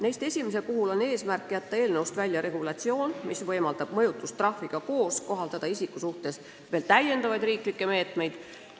Neist esimese eesmärk on jätta eelnõust välja regulatsioon, mis võimaldab mõjutustrahviga koos kohaldada isiku suhtes veel täiendavaid riiklikke meetmeid.